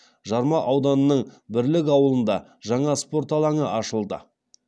жарма ауданының бірлік ауылында жаңа спорт алаңы ашылды